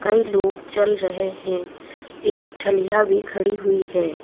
कई लोग चल रहे हैं एक ठलिया भी खड़ी हुई है।